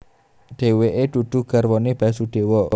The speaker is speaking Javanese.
Dheweke dudu garwane Basudewa